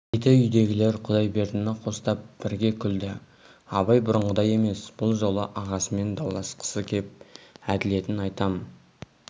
деді үйдегілер құдайбердіні қостап бірге күлді абай бұрынғыдай емес бұл жолы ағасымен дауласқысы кеп әділетін айтам